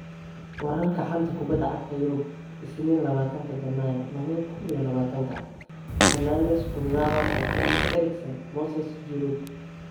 Wararka xanta kubada cagta Yurub Isniin labatanka janaayo laba kuun iyo labatanka: Fernandes, Kurzawa, Boateng, Eriksen, Moses, Giroud